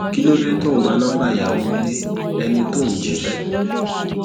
kí ló dé tó ò ń gba nọńbà ìyàwó ilé ẹni tó ò ń jí fẹ